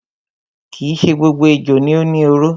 Kii ṣe gbogbo ejò ni ó ni oró.